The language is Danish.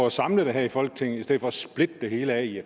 at samle det her i folketinget i stedet for at splitte det hele ad i